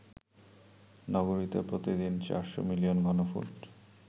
নগরীতে প্রতিদিন ৪০০ মিলিয়ন ঘনফুট